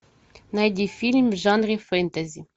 найди фильм в жанре фэнтези